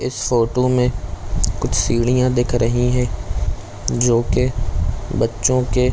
इस फोटो में कुछ सीढिया दिख रही है जो के बच्चों के--